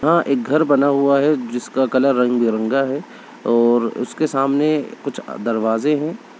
वहा एक घर बना हुआ है जिसका कलर रंग-बिरंगा है और उसके सामने कुछ दरवाजे है।